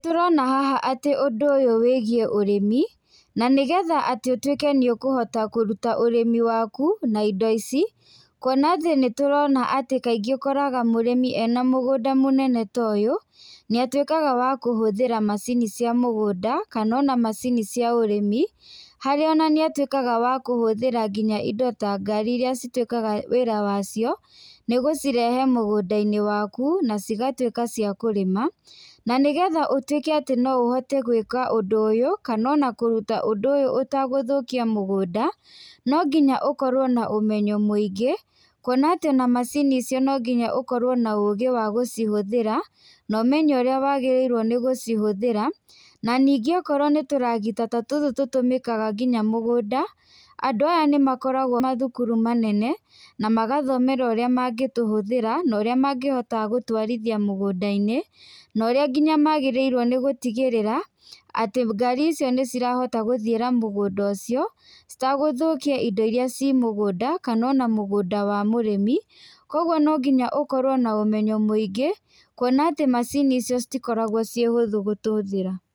Nĩ tũrona haha atĩ ũndũ ũyũ wĩgiĩ ũrĩmi, na nĩgetha atĩ ũtwĩke nĩ ũkũhota kũruta ũrĩmi waku, na indo ici, kuona atĩ nĩ turona atĩ kaingĩ ũkoraga mũrĩmi ena mũgũnda mũnene toyũ, nĩ atwĩkaga wa kũhũthĩra macini cia mũgũnda, kana ona macini cĩa ũrĩmi, harĩa ona nĩ atwaĩkaga wa kũhũthĩra nginya indo ta ngari iria citwĩkaga wĩra wacio, nĩ gũcirehe mũgũnda-inĩ waku, na cigatwĩka cia kũrĩma, na nĩgetha ũtwĩke atĩ noũhote gwĩka ũndũ ũyũ, kana ona kũruta ũndũ ũyũ ũtegũthũkia mũgũnda, no nginya ũkorwo na ũmenyo mwĩingĩ, kuona atĩ ona macini icio nonginya ũkorwo na ũgĩ wa gũcihũthĩra, na ũmenye ũrĩa wagĩrĩrwo nĩ gũcihũthĩra, na ningĩ akorwo nĩ tũragita ta tũtũ tũtũmĩkaga nginya mũgũnda, andũ aya nĩ makoragwo mathukuru manene na magathomera ũrĩa mangĩtũhuthĩra, na ũrĩa mangĩhota gũtwarithia mũgũnda-inĩ, norĩa nginya magĩrĩrwo nĩgũtigĩrĩra atĩ ngari icio nĩcirahota gũthiĩra mũgũnda ũcio, citegũthũkia indo iria cimũgũnda, kana ona mũgũnda wa mũrĩmi, kwoguo nonginya ũkorwo na ũmenyo mwĩingĩ, kuona atĩ macini icio citikoragwo ciĩhũthu gũtũthĩra.